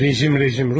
Rejim, rejim!